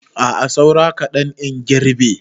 A'a saura kaɗan in girbe.